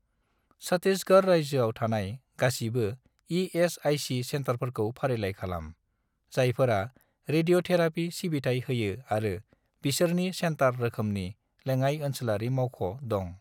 छट्टिसगड़ रायजोआव थानाय गासिबो इ.एस.आइ.सि. सेन्टारफोरखौ फारिलाइ खालाम, जायफोरा रेडिय'थेराफि सिबिथाय होयो आरो बिसोरनि सेन्टार रोखोमनि लेङाइ-ओनसोलारि मावख' दं।